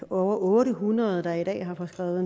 over otte hundrede der i dag har fået